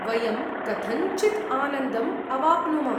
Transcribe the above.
वयं कथञ्चित् आनन्दम् अवाप्नुम।